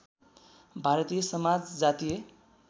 भारतीय समाज जातीय